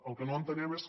el que no entenem és que